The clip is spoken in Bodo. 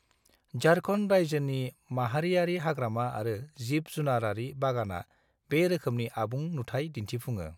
झारखन्ड रायजोनि माहारियारि हाग्रामा आरो जिब-जुनारारि बागाना बे रोखोमनि आबुं नुथाय दिन्थुफुङो।